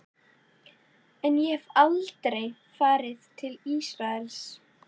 En ég hef aldrei farið til Ísraels.